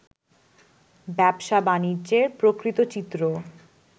ব্যবসা-বাণিজ্যের প্রকৃত চিত্র